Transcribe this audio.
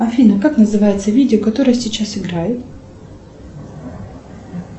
афина как называется видео которое сейчас играет